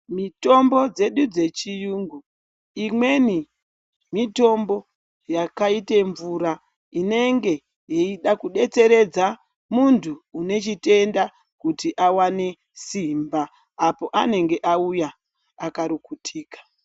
Mitombo dzedu dzechiyungu imweni mitombo yakaite mvura inenge yeida kudetseredza munhu une chitenda kuti awane simba, apo anenge auya akarukutika.